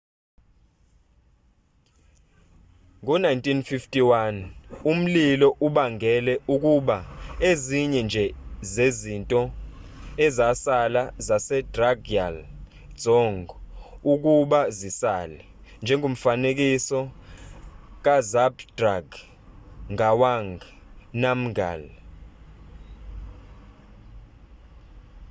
ngo-1951 umlilo ubangele ukuba ezinye nje zezinto ezasala zasedrukgyal dzong ukuba zisale njengomfanekiso kazhabdrung ngawang namgyal